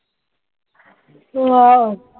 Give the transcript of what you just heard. Wow